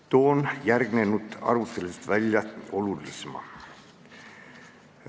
Toon järgnenud arutelust välja olulisema.